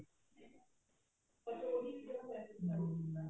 ਹਮ